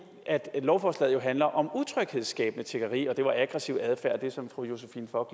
lovforslaget handler om utryghedsskabende tiggeri og det var aggressiv adfærd som fru josephine fock